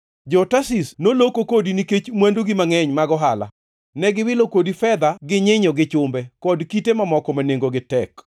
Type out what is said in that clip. “ ‘Jo-Tarshish noloko kodi nikech mwandugi mangʼeny mag ohala; ne giwilo kodi fedha gi nyinyo gi chumbe, kod kite mamoko ma nengogi tek.